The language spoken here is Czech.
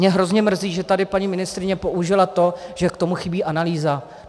Mě hrozně mrzí, že tady paní ministryně použila to, že k tomu chybí analýza.